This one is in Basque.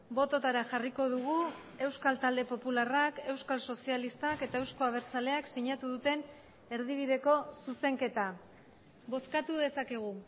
bototara jarriko dugu euskal talde popularrak euskal sozialistak eta euzko abertzaleak sinatu duten erdibideko zuzenketa bozkatu dezakegu